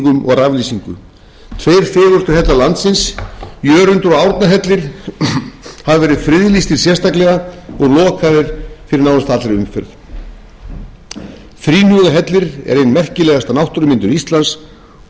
raflýsingu tveir fegurstu hellar landsins jörundur og árnahellir hafa verið friðlýstir sérstaklega og lokaðir fyrir nánast allri umferð þríhnjúkahellir er ein merkilegasta náttúrumyndun íslands og gígurinn